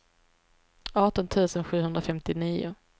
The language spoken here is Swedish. arton tusen sjuhundrafemtionio